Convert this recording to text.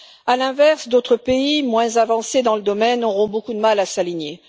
À l'inverse, d'autres pays moins avancés dans le domaine auront beaucoup de mal à s'aligner.